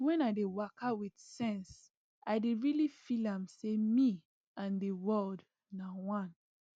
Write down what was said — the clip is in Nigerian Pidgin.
wen i dey waka with sense i dey really feel am say me and the world na one